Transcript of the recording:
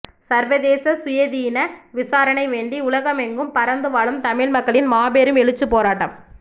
சர்வதேச சுயாதீன விசாரணை வேண்டி உலகமெங்கும் பரந்து வாழும் தமிழ் மக்களின் மாபெரும் எழுச்சிப்போராட்டம்